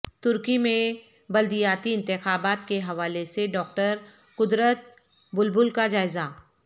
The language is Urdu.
ترکی میں بلدیاتی انتخابات کے حوالے سے ڈاکٹر قدرت بلبل کا جائزہ